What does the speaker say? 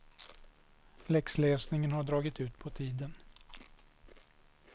Läxläsningen hade dragit ut på tiden.